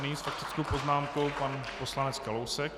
Nyní s faktickou poznámkou pan poslanec Kalousek.